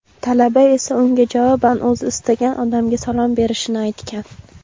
talaba esa unga javoban o‘zi istagan odamga salom berishini aytgan.